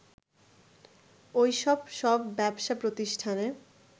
ওইসব সব ব্যবসা প্রতিষ্ঠানে